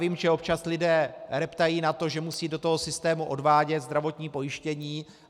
Vím, že občas lidé reptají na to, že musí do toho systému odvádět zdravotní pojištění.